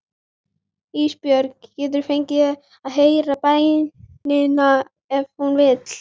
Ísbjörg getur fengið að heyra bænina ef hún vill.